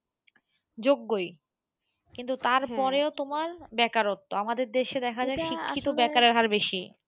যোগ্যই কিন্তু তারপরেও তোমার বেকারত্ব। আমাদের দেশে দেখা যায় শিক্ষিত বেকারের হার বেশি।